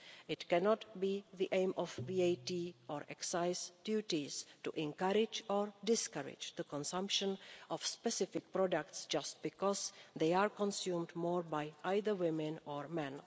It cannot be the aim of VAT or excise duties to encourage or discourage the consumption of specific products just because they are consumed more by either women or men.